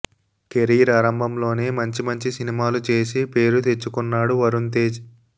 career ఆరంభంలోనే మంచి మంచి సినిమాలు చేసి పేరు తెచ్చుకున్నాడు వరుణ్ తేజ్